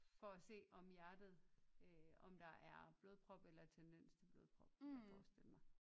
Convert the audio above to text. For at se om hjertet øh om der er blodprop eller tendens til blodprop kan jeg forestille mig